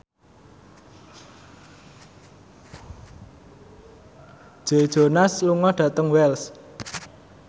Joe Jonas lunga dhateng Wells